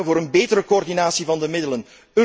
We vragen om een betere coördinatie van de